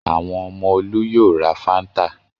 Àwọn ọmọ Olú yóò ra Fanta.